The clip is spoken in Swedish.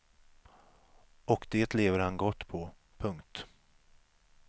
Och det lever han gott på. punkt